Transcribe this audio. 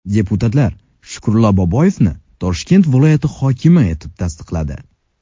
Deputatlar Shukurullo Boboyevni Toshkent viloyati hokimi etib tasdiqladi.